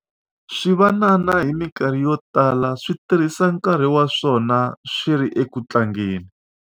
swivanana hi mikarhi yo tala swi tirhisa nkarhi wa swona swi ri eku tlangeni